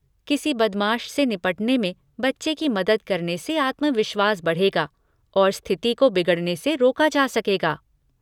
किसी बदमाश से निपटने में बच्चे की मदद करने से आत्मविश्वास बढ़ेगा और स्थिति को बिगड़ने से रोका जा सकेगा।